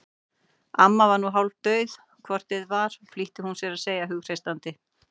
Amma var nú hálfdauð hvort eð var flýtti hún sér að segja hughreystandi.